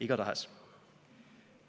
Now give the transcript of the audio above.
"Igatahes."